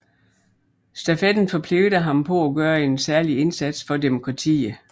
Stafetten forpligter ham på at gøre en særlig indsats for demokratiet